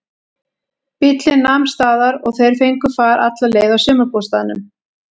Bíllinn nam staðar og þeir fengu far alla leið að sumarbústaðnum.